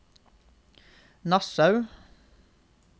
Nassau